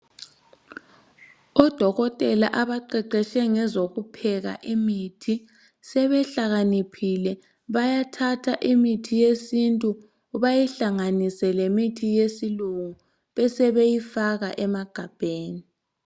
Odokotela abaqeqeshe ngezokupheka kwemithi, sebehlakaniphile. Bayathatha imithi yesintu bayihlanganise lemithi yesilungu besebeyifaka emagabheni.